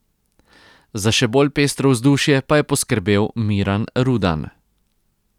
Za še bolj pestro vzdušje pa je poskrbel Miran Rudan.